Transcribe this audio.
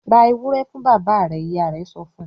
"Ra ewúrẹ́ fún bàbá rẹ̀!" Ìyá rẹ̀ sọ fún un.